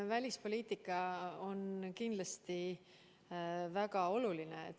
Välispoliitika on kindlasti väga oluline.